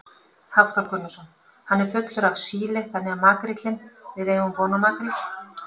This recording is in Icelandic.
Hafþór Gunnarsson: Hann er fullur af síli þannig að makríllinn, við eigum von á makríl?